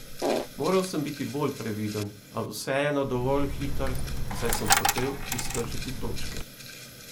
Moral sem biti bolj previden, a vseeno dovolj hiter, saj sem hotel iztržiti točke.